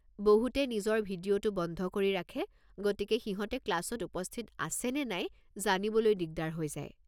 বহুতে নিজৰ ভিডিঅ'টো বন্ধ কৰি ৰাখে গতিকে সিহঁতে ক্লাছত উপস্থিত আছে নে নাই জানিবলৈ দিগদাৰ হৈ যায়।